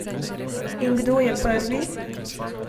In kdo je prvi?